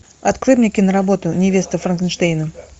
открой мне киноработу невеста франкенштейна